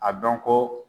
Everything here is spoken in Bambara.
A dɔn ko